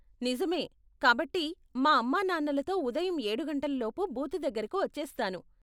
నిజమే. కాబట్టి, మా అమ్మా నాన్నలతో ఉదయం ఏడు గంటలలోపు బూతు దగ్గరకు వచ్చేస్తాను.